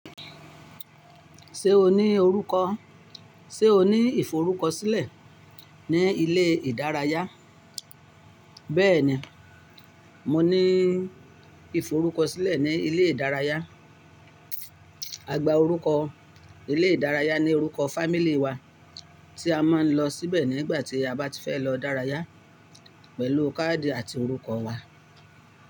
Ṣé o ní orúkọ? Ṣé o ní ìforúkọsílẹ̀ ní ilé ìdárayá? Bẹ́ẹ̀ni, mo ní ìforúkọsílẹ̀ ní ilé ìdárayá. A gba orúkọ ilé ìdárayá ní orúkọ family wa, tí a máa ń lọ sí bẹ̀ nígbà tí a bá ti fẹ́ lọ dárayá pẹ̀lú káàdì àti orúkọ wa.